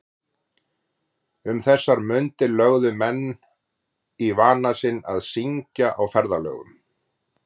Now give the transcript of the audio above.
Um þessar mundir lögðu menn í vana sinn að syngja á ferðalögum.